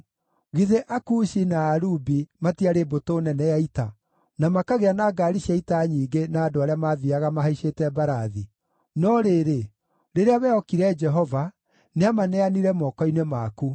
Githĩ Akushi na Alubi, matiarĩ mbũtũ nene ya ita, na makagĩa na ngaari cia ita nyingĩ na andũ arĩa maathiiaga mahaicĩte mbarathi? No rĩrĩ, rĩrĩa wehokire Jehova, nĩamaneanire moko-inĩ maku.